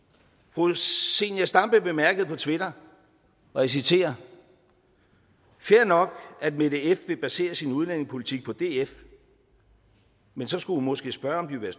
fru zenia stampe bemærkede på twitter og jeg citerer fair nok at mette f vil basere sin udlændingepolitik på df men så skulle hun måske spørge om de vil